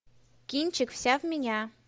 кинчик вся в меня